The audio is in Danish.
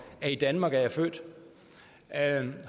af i danmark er jeg født